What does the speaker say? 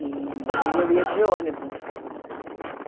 E eu ia de ônibus.